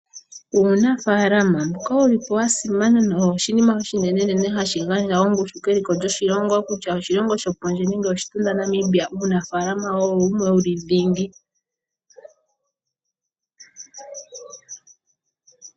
Uunafalama mboka owa simana owo oshinima oshinene hashi gandja keliko lyoshilongo kutya oshilongo shokondje nengè oshitunda Namibia, uunafalama owo dhingi.